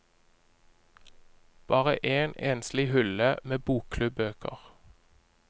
Bare en enslig hylle med bokklubbøker.